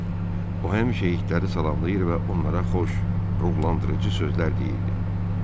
O həmişə itləri salamlayır və onlara xoş, ruhlandırıcı sözlər deyirdi.